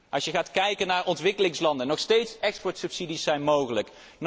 Als je gaat kijken naar ontwikkelingslanden er zijn nog steeds exportsubsidies zijn mogelijk.